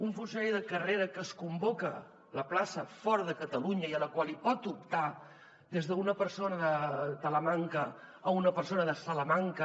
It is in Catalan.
un funcionari de carrera que se’n convoca la plaça fora de catalunya i a la qual pot optar des d’una persona de talamanca a una persona de salamanca